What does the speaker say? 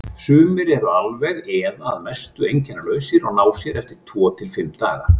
Sumir eru alveg eða að mestu einkennalausir og ná sér eftir tvo til fimm daga.